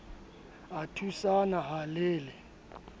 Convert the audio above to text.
a thusana ha le le